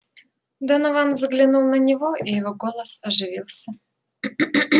донован взглянул на него и его голос оживился